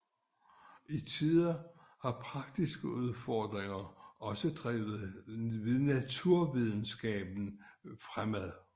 Til tider har praktiske udfordringer også drevet naturvidenskaben fremad